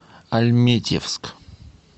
альметьевск